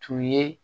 Tun ye